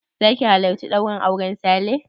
Zaka halarci ɗaurin auren Sale?